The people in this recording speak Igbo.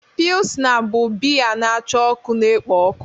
Pilsna bụ biya na-acha ọkụ na-ekpo ọkụ.